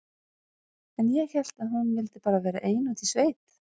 En ég hélt að hún vildi bara vera ein úti í sveit.